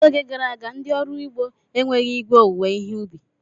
N'oge gara aga, ndị ọrụ ugbo enweghị igwe owuwe ihe ubi.